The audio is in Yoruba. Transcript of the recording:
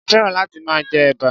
mo féràn láti máa jẹ ẹ̀bà.